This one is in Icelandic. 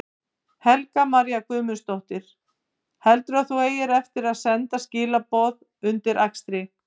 Helga María Guðmundsdóttir: Heldurðu að þú eigir eftir að senda skilaboð undir akstri?